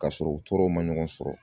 K'a sɔrɔ u tɔɔrɔw ma ɲɔgɔn sɔrɔ.